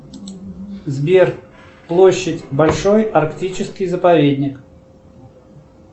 сбер площадь большой арктический заповедник